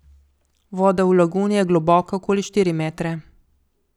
Voda v laguni je globoka okoli štiri metre.